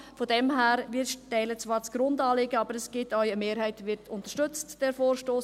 Daher: Wir teilen zwar das Grundanliegen, und eine Mehrheit unterstützt diesen Vorstoss.